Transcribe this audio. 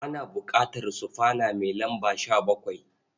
Ana buƙatar sufana mai lamba 17.